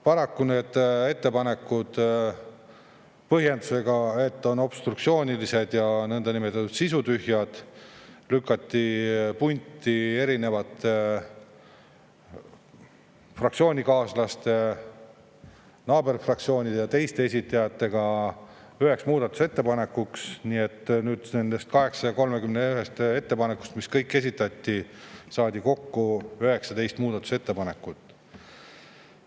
Paraku need ettepanekud – põhjendusega, et need on obstruktsioonilised ja niinimetatud sisutühjad – lükati punti minu fraktsioonikaaslaste, naaberfraktsioonide ja teiste esitajate omadega üheks muudatusettepanekuks, nii et nüüd nendest 831 ettepanekust, mis kõik esitati, saadi kokku 19 muudatusettepanekut.